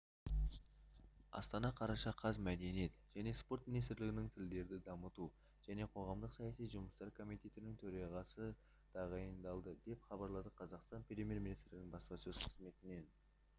астана қараша қаз мәдениет және спорт министрлігінің тілдерді дамыту және қоғамдық-саяси жұмыстар комитетінің төрағасы тағайындалды деп хабарлады қазақстан премьер-министрінің баспасөз қызметінен